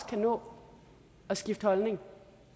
kan nå at skifte holdning